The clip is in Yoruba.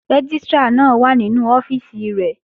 Rẹ́gístrà náà wà nínú ọ́fíìsì rẹ̀